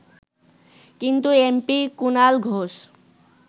কিন্তু এমপি কুনাল ঘোষ